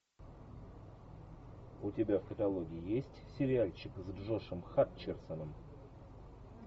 у тебя в каталоге есть сериальчик с джошем хатчерсоном